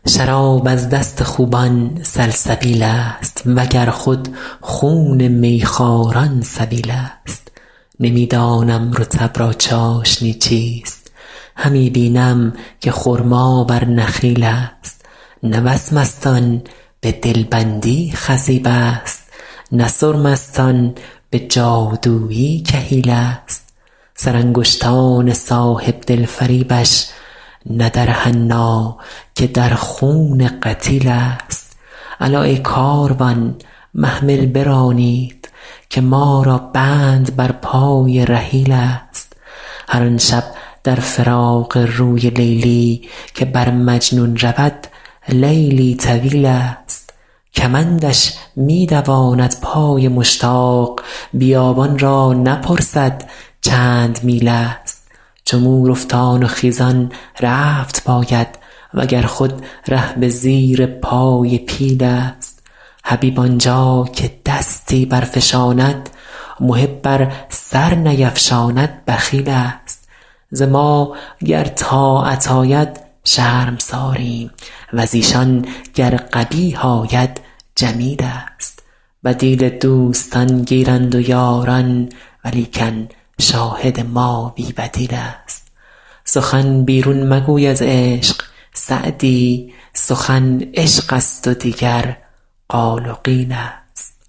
شراب از دست خوبان سلسبیل ست و گر خود خون می خواران سبیل ست نمی دانم رطب را چاشنی چیست همی بینم که خرما بر نخیل ست نه وسمست آن به دل بندی خضیب ست نه سرمست آن به جادویی کحیل ست سرانگشتان صاحب دل فریبش نه در حنا که در خون قتیل ست الا ای کاروان محمل برانید که ما را بند بر پای رحیل ست هر آن شب در فراق روی لیلی که بر مجنون رود لیلی طویل ست کمندش می دواند پای مشتاق بیابان را نپرسد چند میل ست چو مور افتان و خیزان رفت باید و گر خود ره به زیر پای پیل ست حبیب آن جا که دستی برفشاند محب ار سر نیفشاند بخیل ست ز ما گر طاعت آید شرمساریم و ز ایشان گر قبیح آید جمیل ست بدیل دوستان گیرند و یاران ولیکن شاهد ما بی بدیل ست سخن بیرون مگوی از عشق سعدی سخن عشق ست و دیگر قال و قیل ست